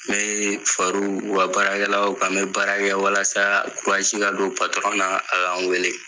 Mee far'u u ka baarakɛlaw kan. N bɛ baara kɛ walasa kuraji ka don na a ka n weele.